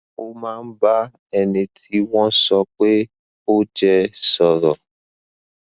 ó máa ń bá ẹni tí wọn sọ pé ó jẹ sọrọ